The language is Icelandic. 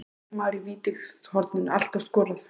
Getur leikmaður í vítateigshorninu alltaf skorað?